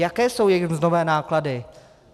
Jaké jsou jejich mzdové náklady.